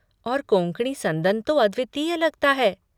और कोंकणी संदन तो अद्वितीय लगता है।